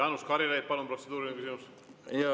Jaanus Karilaid, palun, protseduuriline küsimus!